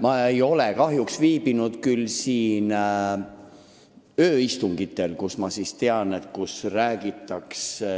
Ma ei ole kahjuks viibinud siinsetel ööistungitel, kus minu teada räägitakse